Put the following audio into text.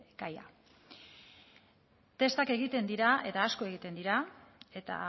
gaia testak egiten dira eta asko egiten dira eta